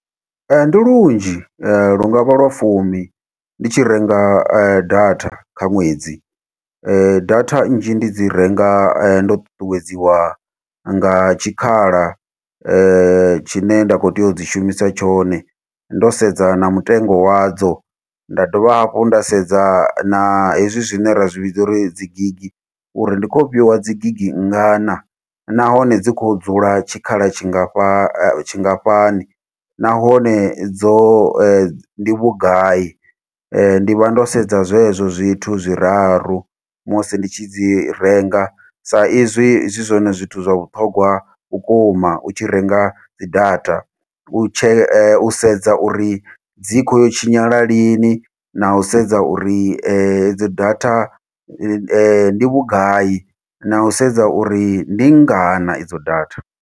Ndi lunzhi, lu nga vha lwa fumi, ndi tshi renga data kha ṅwedzi. Data nnzhi ndi dzi renga ndo ṱuṱuwedziwa nga tshikhala, tshine nda khou tea u dzi shumisa tshone. Ndo sedza na mutengo wadzo, nda dovha hafhu nda sedza na hezwi zwine ra zwi vhidza uri dzi gigi, uri ndi khou fhiwa dzi gigi ngana. Nahone dzi khou dzula tshikhala tshingafha tshingafhani. Nahone, dzo ndi vhugai ? ndi vha ndo sedza zwezwo zwithu zwiraru, musi ndi tshi dzi renga. Sa izwi zwi zwone zwithu zwa vhuṱhogwa vhukuma u tshi renga dzi data. U tshe u sedza uri dzi khou yo tshinyala lini, na u sedza uri edzo data ndi ndi vhugai, na u sedza uri ndi ngana idzo data.